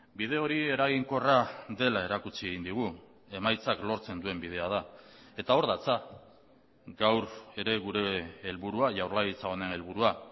bide hori eraginkorra dela erakutsi egin digu emaitzak lortzen duen bidea da eta hor datza gaur ere gure helburua jaurlaritza honen helburua